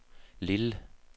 Lille